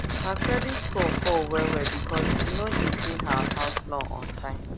her credit score fall wellwell because she no dey pay her house loan on time